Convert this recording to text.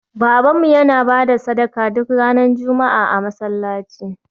Babanmu yana ba da sadaka duk ranar Juma'a a masallaci